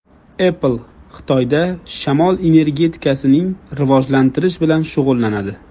Apple Xitoyda shamol energetikasini rivojlantirish bilan shug‘ullanadi.